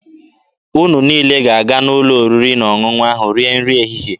Unu niile ga-aga n'ụlọ oriri na ọṅụṅụ rie nri ehihie.